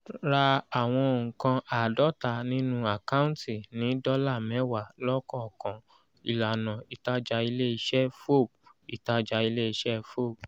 ra àwọn nǹkan àádọ́ta nínú àkáǹtì ní dọ́là mẹ́wàá lọ́kọ̀òkan ìlànà ìtajà ilé-iṣẹ́ fob ìtajà ilé-iṣẹ́ fob